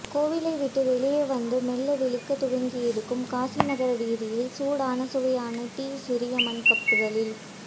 கோவிலை விட்டு வெளியே வந்து மெல்ல விழிக்க துவங்கியிருக்கும் காசிநகர வீதியில் சூடான சுவையான டீ சிறிய மண் கப்புகளில்